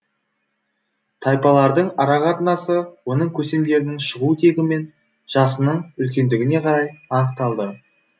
тайпалардың арақатынасы оның көсемдерінің шығу тегі мен жасының үлкендігіне қарай анықталды